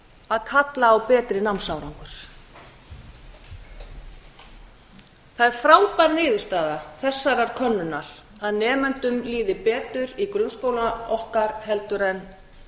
að kalla á betri námsárangur það er frábær niðurstaða þessarar könnunar að nemendum líði betur í grunnskóla okkar heldur en